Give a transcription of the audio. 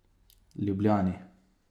Ljubljani.